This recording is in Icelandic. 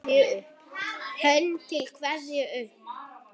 Hönd til kveðju upp!